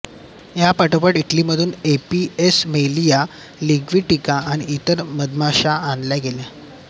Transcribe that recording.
या पाठोपाठ इटलीमधून एपिस मेलिया लिग्विस्टिका आणि इतर मधमाश्या आणल्या गेल्या